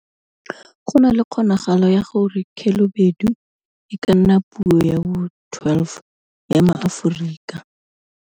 Go na le kgonagalo ya gore Khelobedu e ka nna puo ya bo 12 ya maAforika.